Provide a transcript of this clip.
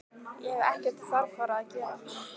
Ég hef ekkert þarfara að gera.